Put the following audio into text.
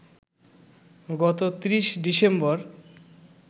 গত ৩০ ডিসেম্বর